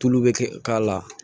Tulu bɛ k'a la